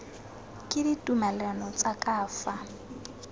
ke ditumalano tsa ka fa